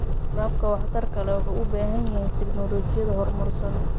Waraabka waxtarka leh wuxuu u baahan yahay tignoolajiyad horumarsan.